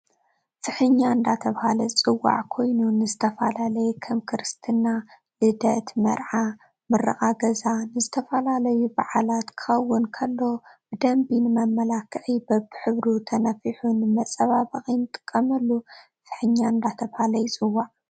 ፍሕኛ እደተበሃል ዝፅዋዕ ኾይኑ ንዝተፈላላየ ከም ክርስትና ፣ልደት፣ መርዓ ፣መርቓ ገዛ ንዝተፈላለዩ በዓላት ክከውን ኮሎ ብደንብ ንመመላኪዕ በብሕብሩ ተንፍሑ ንመፃባበቂ ንጥቀመሉ ፍሕኛ እዳተበሃል ይፅዋዕ።